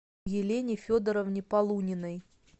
елене федоровне полуниной